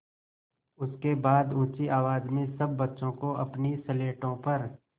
उसके बाद ऊँची आवाज़ में सब बच्चों को अपनी स्लेटों पर